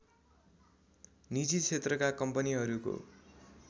निजी क्षेत्रका कम्पनीहरूको